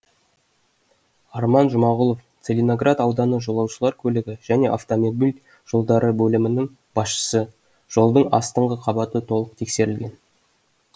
арман жұмағұлов целиноград ауданы жолаушылар көлігі және автомобиль жолдары бөлімінің басшысы жолдың астыңғы қабаты толық тексерілген